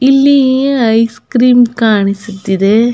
ಇಲ್ಲಿ ice cream ಕಾಣಿಸ್ತಿದೆ.